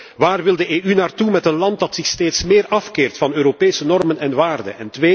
Eén waar wil de EU naartoe met een land dat zich steeds meer afkeert van Europese normen en waarden?